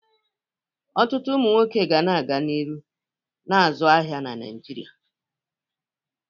Ọtụtụ ụmụ nwoke ga-aga n'ihu na-azụ ahịa n'Naịjirịa.